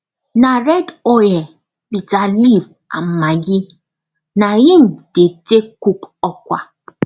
na red oil bitter leaf and maggi na im dey take cook ukwa